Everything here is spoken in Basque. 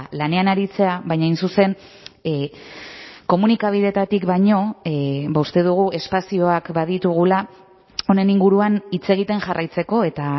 lanean aritzea baina hain zuzen komunikabideetatik baino uste dugu espazioak baditugula honen inguruan hitz egiten jarraitzeko eta